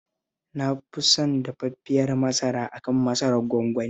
Na fi son dafaffiyar masara a kan masarar gwangwani